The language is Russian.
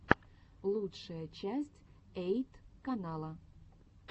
лучшая часть эйт канала